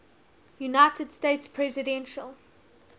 united states presidential